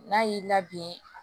N'a y'i labɛn